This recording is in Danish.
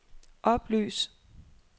oplys